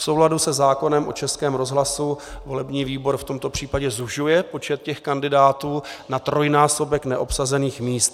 V souladu se zákonem o Českém rozhlasu volební výbor v tomto případě zužuje počet těch kandidátů na trojnásobek neobsazených míst.